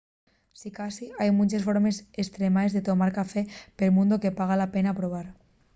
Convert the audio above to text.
sicasí hai munches formes estremaes de tomar café pel mundu que paga la pena probar